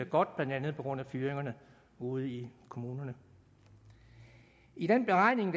godt blandt andet på grund af fyringerne ude i kommunerne i den beregning